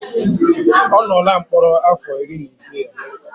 Ọ nọọla mkpọrọ afọ iri na ise ya